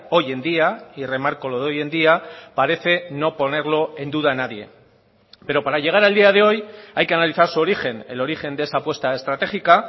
hoy en día y remarco lo de hoy en día parece no ponerlo en duda nadie pero para llegar al día de hoy hay que analizar su origen el origen de esa apuesta estratégica